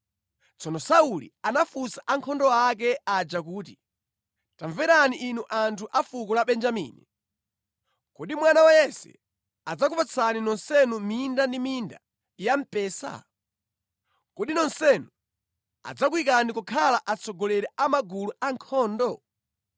Tsono Sauli anafunsa ankhondo ake aja kuti, “Tamverani inu anthu a fuko la Benjamini! Kodi mwana wa Yese adzakupatsani nonsenu minda ndi minda ya mpesa? Kodi nonsenu adzakuyikani kukhala atsogoleri a magulu ankhondo?